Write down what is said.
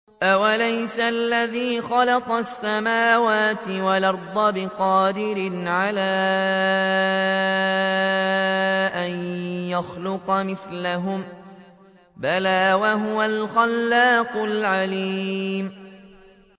أَوَلَيْسَ الَّذِي خَلَقَ السَّمَاوَاتِ وَالْأَرْضَ بِقَادِرٍ عَلَىٰ أَن يَخْلُقَ مِثْلَهُم ۚ بَلَىٰ وَهُوَ الْخَلَّاقُ الْعَلِيمُ